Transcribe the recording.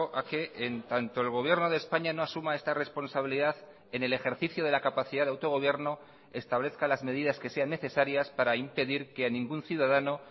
a que en tanto el gobierno de españa no asuma esta responsabilidad en el ejercicio de la capacidad de autogobierno establezca las medidas que sean necesarias para impedir que a ningún ciudadano